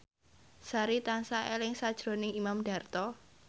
Sari tansah eling sakjroning Imam Darto